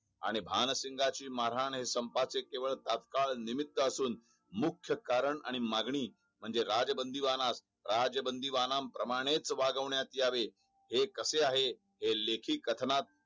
आणि भानसिंघची मारहाण हे संपाची केवळ तात्काळ निम्मित असून मुख्य कारण आणि मागणी म्हणजे राजबंदीबानास राजबंदीबांना प्रमाणे च वागवण्यात यावे हे कसे आहे हे लेखी कथनात